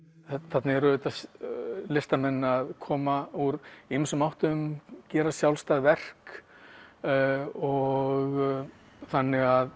þarna eru listamenn að koma úr ýmsum áttum gera sjálfstæð verk og þannig að